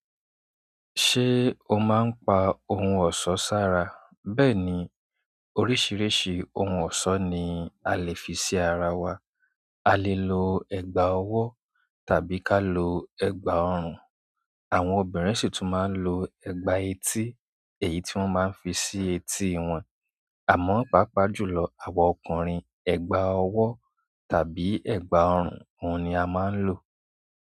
Ṣé o máa ń pa ohun ọ̀ṣọ́ sára? Bẹ́ẹ̀ ni, oríṣìíríṣìí ohun ọ̀ṣọ́ ni a lè fi sí ara wa. A lè lọ ẹgba ọwọ tàbí ká lo ẹgba orun. Àwọn obìnrin sì tún máa ń lo ẹ̀gbà etí, èyí tí wọ́n máa ń fi sí etí wọn. Àmọ́, pàápàá jùlọ àwa ọkùnrin, ẹ̀gbà ọwọ́ tàbí ẹ̀gbà ọrùn, ohun ni a máa ń lò.